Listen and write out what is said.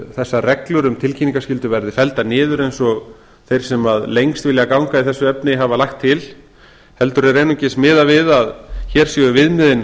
þessar reglur um tilkynningaskyldu verði felldar niður eins og þeir sem lengst vilja ganga í þessu efni hafa lagt til heldur er einungis miðað við að hér séu viðmiðin